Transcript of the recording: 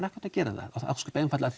átt að gera það ósköp einfaldlega